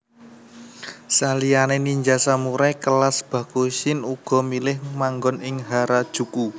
Saliyané ninja samurai kelas Bakushin uga milih manggon ing Harajuku